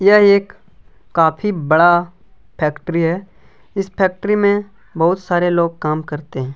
यह एक काफी बड़ा फेक्ट्री है इस फैक्ट्री में बहुत सारे लोग काम करते है।